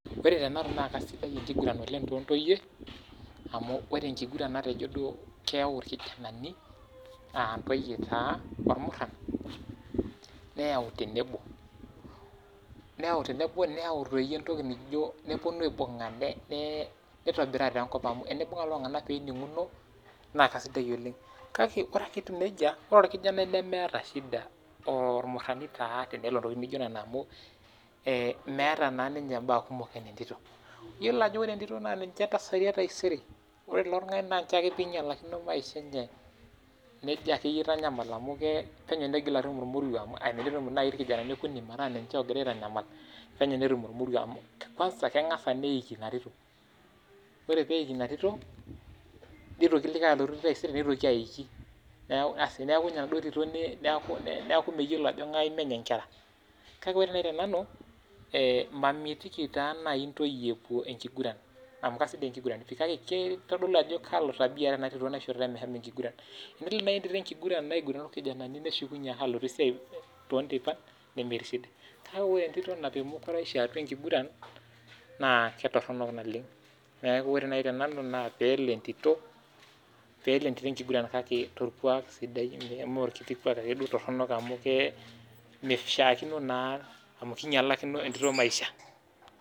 Ore tenanu naa keisidai oleng enkiguran toontoyie, amu ore enkiguran natejo duo keyau irkijanani ,aa ntoyie taa ormuran ,nayau tenebo neponu aibunga, naitobiraa taa enkop amu tenibunga lelo tunganak pee eninguno naa keisidai oleng, kake ore ake etii nejia tanatii ormuarani lemeeta shida tenelo ntokiting naijo nena amu meeta naa ninye mbaa kumok anaa entito ,yiolo ajo ore entito naa ninye kasari entaisere, naa ore ilo tungani ore ake pee einyalakino maisha enye na kejo akeyie aitanyamal amu penyo neitoki atum ormoruo amu tenetum naaji irkijanani okuni metaa niche ogira aitanyamal penyo netum ormoruo amu kwanza neiki ina tito ,ore pee eiki ina tito neitoki taisere likae nelotu aiki asi neeku ninye enaduo tito neeku meyiolo ajo ngae menye nkera. kake ore naaji tenanu ,mamitiki naaji ntoyie epuo enkiguran amu keisidai enkiguran kake keitodolu ajo kalo tabia eeta ena tito naishoritae meshomo enkiguran ,amu tenelo naaji entito ake enkiguran orkijanani neshukunye alotu esiai too nteipan nemeti shida kake ore entito naapiki mukuraisho atua enkiguran naa keitoronok naleng ,neeku ore naaji tenanu naa peelo entito enkiguran kake torkuak sidai mee ake orkiti kuak toronok amu meishakino naa amu keinyalakino entito maisha .